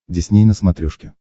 дисней на смотрешке